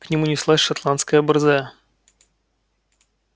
к нему неслась шотландская борзая